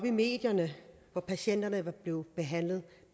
i medierne og patienterne var blevet behandlet